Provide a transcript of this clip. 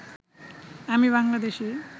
আমি বাংলাদেশী